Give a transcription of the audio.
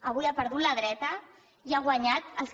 avui ha perdut la dreta i han guanyat els que